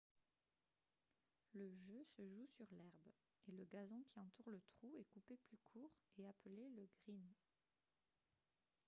le jeu se joue sur l'herbe et le gazon qui entoure le trou est coupé plus court et appelé le « green »